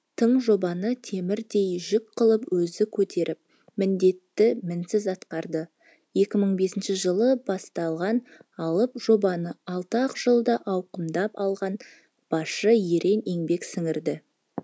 тың жобаны темірдей жүк қылып өзі көтеріп міндетті мінсіз атқарды екі мың бесінші жылы басталған алып жобаны алты ақ жылда ауқымдап алған басшы ерен еңбек сіңірді